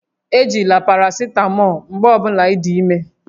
Ejila parasitamọọlụ mgbe ọ bụla ị dị ime